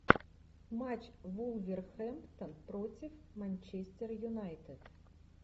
матч вулверхэмптон против манчестер юнайтед